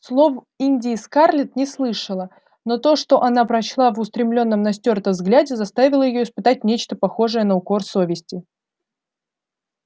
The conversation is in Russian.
слов индии скарлетт не слышала но то что она прочла в устремлённом на стюарта взгляде заставило её испытать нечто похожее на укор совести